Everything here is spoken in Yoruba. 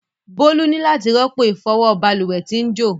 Bolu ni lati ropo ifọwọ balùwẹ ti n jo.